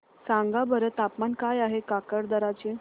सांगा बरं तापमान काय आहे काकरदरा चे